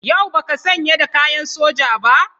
Yau ba ka sanye da kayan soja ba?